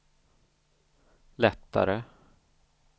lättare